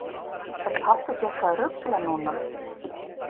Er pabbi ekki eitthvað að rugla núna?